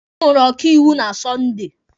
Ọ hụrụ ọkaiwu na Sọnde.